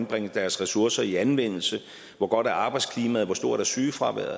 bringer deres ressourcer i anvendelse hvor godt arbejdsklimaet hvor stort sygefraværet